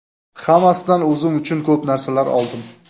Hammasidan o‘zim uchun ko‘p narsalar oldim.